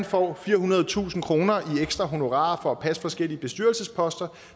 får firehundredetusind kroner i ekstra honorarer for at passe forskellige bestyrelsesposter